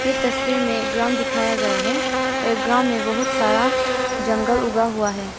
ये तस्वीर में ग्राउंड दिखाया गया है और ये ग्राउंड में बहुत सारा जंगल उगा हुआ है।